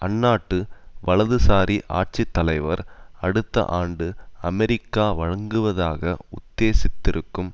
அந்நாட்டு வலதுசாரி ஆட்சி தலைவர் அடுத்த ஆண்டு அமெரிக்கா வழங்குவதாக உத்தேசித்திருக்கும்